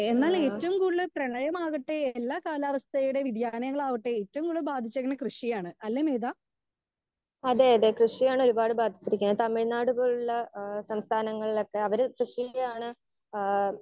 Speaker 1 ഏഹ് അതെ അതെ കൃഷിയെ ആണ് ഒരുപാട് ബാധിച്ചിരിക്കുന്നേ. ഏഹ് തമിഴ്നാട് പോലുള്ള ഏഹ് സംസ്ഥാനങ്ങളിലൊക്കെ അവര് കൃഷി ന്റെ ആണ് ഏഹ്